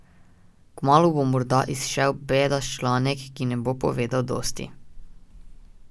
Kmalu bo morda izšel bedast članek, ki ne bo povedal dosti.